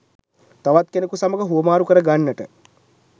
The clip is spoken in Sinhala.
තවත් කෙනෙකු සමග හුවමාරු කර ගන්නට